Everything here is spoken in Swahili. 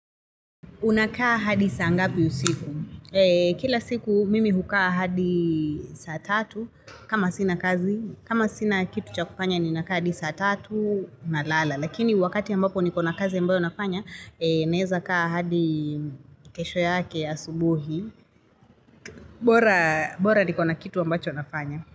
Unakaa hadi saa ngapi usiku? Kila siku mimi hukaa hadi saa tatu kama sina kazi. Kama sina kitu cha kufanya ninakaa hadi saa tatu na lala. Lakini wakati ambapo nikona kazi ambayo nafanya, naeza kaa hadi kesho yake asubuhi. Bora nikona kitu ambacho nafanya.